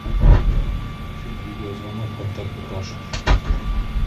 афина видеозвонок контакту паша